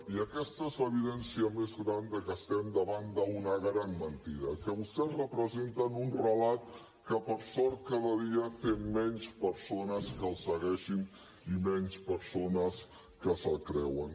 i aquesta és l’evidència més gran de que estem davant d’una gran mentida que vostès representen un relat que per sort cada dia té menys persones que el segueixin i menys persones que se’l creuen